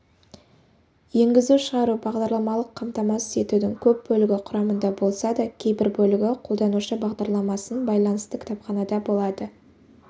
енгізу-шығару бағдарламалық қамтамасыз етудің көп бөлігі құрамында болса да кейбір бөлігі қолданушы бағдарламасын байланысты кітапханада болады